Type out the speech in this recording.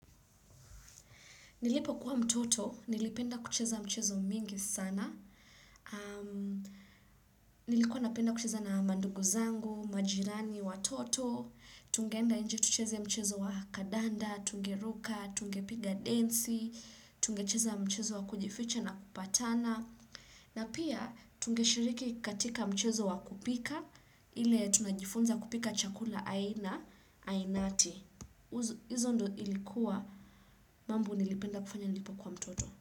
Nilipo kuwa mtoto, nilipenda kucheza mchezo mingi sana, nilikuwa napenda kucheza na manduguzangu, majirani, watoto, tungenda enje tucheza mchezo wa kandanda, tungeruka, tungepiga densi, tungecheza mchezo wa kujificha na kupatana, na pia tungeshiriki katika mchezo wa kupika, ile tunajifunza kupika chakula aina, ainati. Hizo ndo ilikuwa mambo nilipenda kufanya nilipo kuwa mtoto.